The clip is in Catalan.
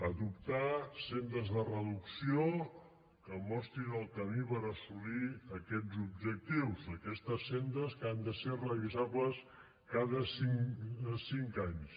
adoptar sendes de reducció que mostrin el camí per assolir aquests objectius aquestes sendes que han de ser revisables cada cinc anys